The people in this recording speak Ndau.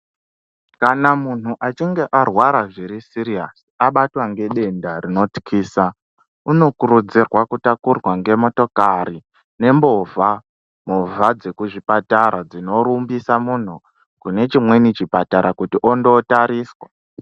Kana mundu achinge arwara zvuri siriyasi abatwa ngedenda rinotyisa unokuridzirwa kutakurwa ngemotokari ngemovha movha dzekuzvipatara dzinorumbisa munhu kune chimweni chipatara kuti onotariswa.